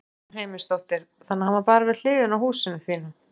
Guðrún Heimisdóttir: Þannig að hann var bara við hliðina á húsinu þínu?